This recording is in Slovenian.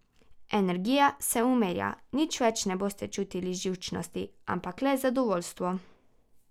Energija se umirja, nič več ne boste čutili živčnosti, ampak le zadovoljstvo.